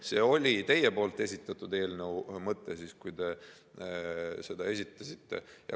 See oli teie esitatud eelnõu mõte, kui te selle esitasite.